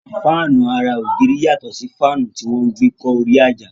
Fáànù ara ògiri yàtọ̀ sí faanu tí wọ́n gbe kọ́ orí àjà